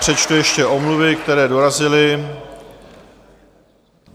Přečtu ještě omluvy, které dorazily.